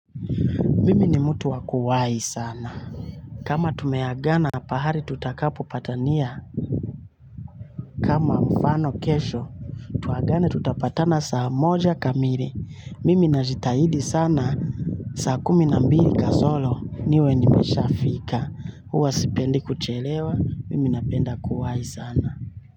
Mimi ni mtu wa kuwahi sana. Kama tumeagana pahali tutakapo patania. Kama mfano kesho tuagane tutapatana saa moja kamili. Mimi najitahidi sana. Saa kumi na mbili kasoro niwe nimeshaa fika huwa sipendi kuchelewa. Mimi napenda kuwahi sana.